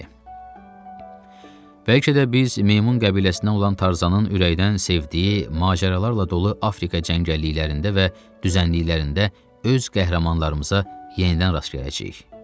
Bəlkə də biz Meymun qəbiləsinə olan Tarzanın ürəkdən sevdiyi macəralarla dolu Afrika cəngəlliklərində və düzənliklərində öz qəhrəmanlarımıza yenidən rast gələcəyik.